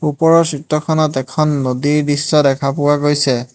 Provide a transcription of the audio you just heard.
ওপৰৰ চিত্ৰখনত এখন নদীৰ দৃশ্য দেখা পোৱা গৈছে।